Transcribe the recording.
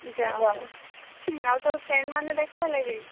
ଯାହାହଉ ଆଉ ତୋର friend ମାନେ ଦେଖା ହେଲେ କେହି?